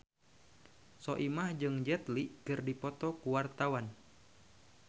Soimah jeung Jet Li keur dipoto ku wartawan